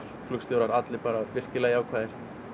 flugstjórar allir bara virkilega jákvæðir